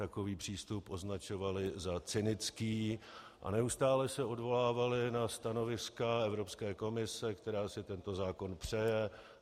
Takový přístup označovali za cynický a neustále se odvolávali na stanoviska Evropské komise, která si tento zákon přeje.